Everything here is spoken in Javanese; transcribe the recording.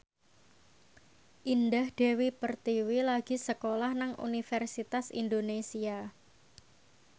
Indah Dewi Pertiwi lagi sekolah nang Universitas Indonesia